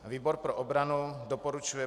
Výbor pro obranu doporučuje